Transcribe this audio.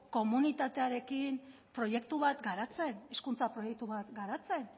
komunitatearekin proiektu bat garatzen hezkuntza proiektu bat garatzen